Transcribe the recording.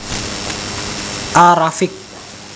A Rafiq